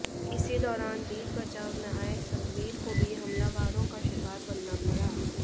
इसी दौरान बीच बचाव में आए सतवीर को भी हमलावरों का शिकार बनना पड़ा